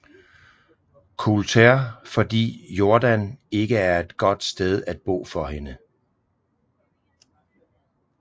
Coulter fordi Jordan ikke er et godt sted at bo for hende